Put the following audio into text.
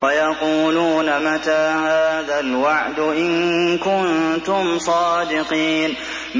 وَيَقُولُونَ مَتَىٰ هَٰذَا الْوَعْدُ إِن كُنتُمْ صَادِقِينَ